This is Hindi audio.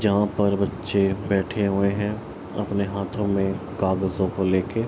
जहाँ पर बच्चे बैठे हुए हैं अपने हाथों में कागजों को लेके।